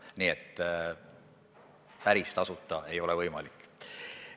Nii et päris tasuta investeerida ei ole võimalik.